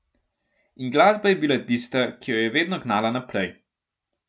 In glasba je bila tista, ki jo je vedno gnala naprej.